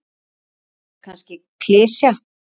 Þetta er kannski klisja.